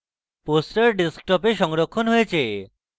আমাদের poster desktop এ সংরক্ষণ হয়েছে